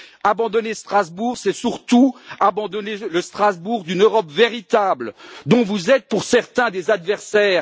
Abandonner Strasbourg, c'est surtout abandonner le Strasbourg d'une Europe véritable dont vous êtes, pour certains, des adversaires.